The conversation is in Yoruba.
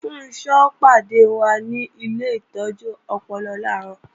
Funṣọ́ ó pàdé wa ni ilé ìtọ́jú ọpọlọ làárọ̀